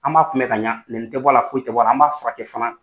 An b'a kun bɛ ka ɲa nɛni tɛ bɔ a la foyi tɛ bɔ a la an b'a furakɛ fana.